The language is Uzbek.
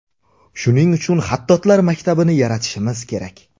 Shuning uchun xattotlar maktabini yaratishimiz kerak.